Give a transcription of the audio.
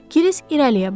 Kiris irəliyə baxdı.